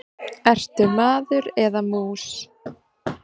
Ertu maður eða mús?